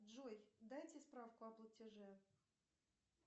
джой дайте справку о платеже